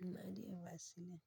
Na iya Vaseline.